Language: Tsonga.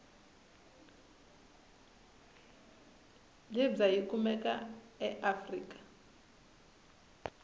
libya yikumeka aafrika